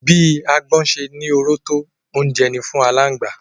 Bí agbọ́n ṣe ní oró tó, oúnjẹ ni fún aláǹgbá